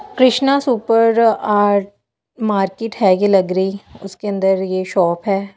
Krishna super art market है कि लग रही उसके अंदर ये शॉप है।